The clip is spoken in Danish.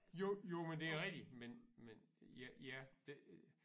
Jo jo men det er rigtig men men ja ja